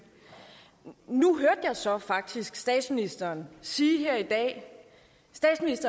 nu hørte jeg så faktisk statsministeren sige her i dag at